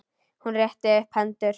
Hún rétti upp hendur.